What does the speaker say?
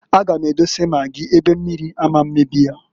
A gam edose magị ebe mmiri ama mmebi ya.